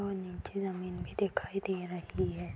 और नीचे जमीन भी दिखाई दे रही है।